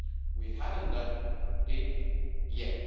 We haven't done it yet.